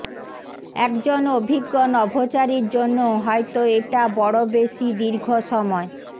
একজন অভিজ্ঞ নভোচারীর জন্যও হয়ত এটা বড় বেশি দীর্ঘ সময়